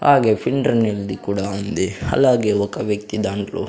తాగే ఫిల్టర్ నీళ్లది కూడా ఉంది అలాగే ఒక వ్యక్తి దాంట్లో--